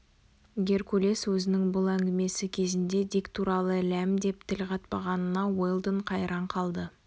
геркулес өзінің бұл әңгімесі кезінде дик туралы ләм деп тіл қатпағанына уэлдон қайран қалды